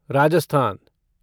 Rajasthan